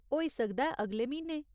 होई सकदा ऐ अगले म्हीने।